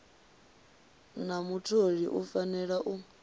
na mutholi u fanela u